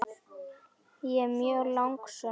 Ég er mjög lánsöm kona.